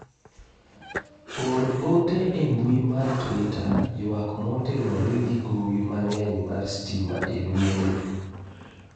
or ote e mbui mar twita ywak motenore gi gowi mang'eny mar sitima e dwe ni